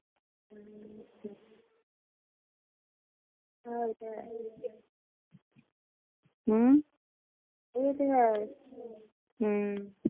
ਇਹੀ ਤਾਂ ਹੈ ਹਮ ਇਹ ਤਾਂ ਹੈ ਹਮ